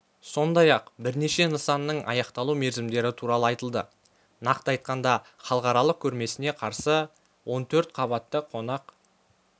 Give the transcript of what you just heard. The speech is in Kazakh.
сондай-ақ бірнеше нысанның аяқталу мерзімдері туралы айтылды нақты айтқанда халықаралық көрмесіне қарсы он төрт қабатты қонақ